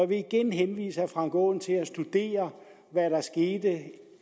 vil igen henvise herre frank aaen til at studere hvad der skete